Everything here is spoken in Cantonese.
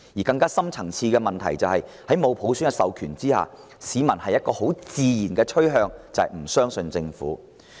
更深層次的問題是，在沒有普選授權下，市民自然傾向不相信政府。